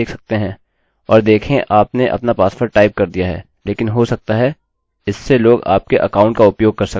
अतः यदि उदाहरणस्वरूप मेरा पासवर्ड वास्तव में लम्बा था मानिए कि 100 अक्षरों से अधिक यह अभी भी स्वीकार किया जाएगा